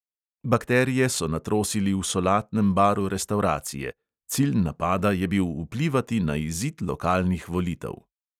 Bakterije so natrosili v solatnem baru restavracije; cilj napada je bil vplivati na izid lokalnih volitev.